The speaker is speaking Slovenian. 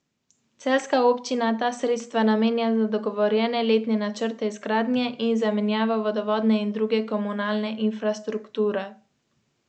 Enega predstavnika imenuje vlada na predlog ministra za infrastrukturo, osem članov pa imenujejo na predlog društev in drugih organizacij civilne družbe.